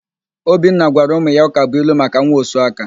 Obinna gwara ụmụ ya ụkabụilu maka nwaosuaka.